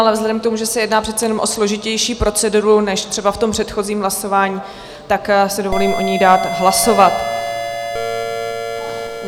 Ale vzhledem k tomu, že se jedná přece jenom o složitější proceduru než třeba v tom předchozím hlasování, tak si dovolím o ní dát hlasovat.